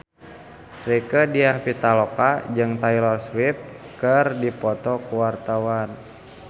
Rieke Diah Pitaloka jeung Taylor Swift keur dipoto ku wartawan